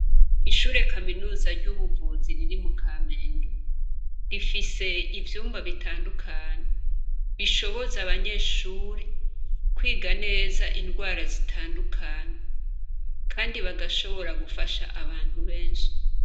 Ishure kaminuza ry'ubuvuzi riri mu Kamenge rifise ivyumba bitandukanye bishoboza abanyeshure kwiga neza indwara zitandukanye, kandi bagashobora gufasha abantu benshi.